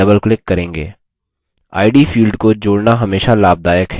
id field को जोड़ना हमेशा लाभदायक है